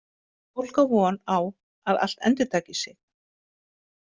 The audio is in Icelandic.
Fólk á von á að allt endurtaki sig.